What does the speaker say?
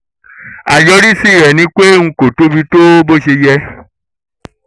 àyọrísí rẹ̀ ni pé n kò tóbi tó bó ṣe yẹ